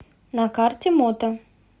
на карте мото